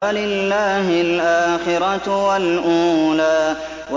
فَلِلَّهِ الْآخِرَةُ وَالْأُولَىٰ